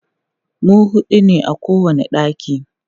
mu huɗu ne a kowani ɗaki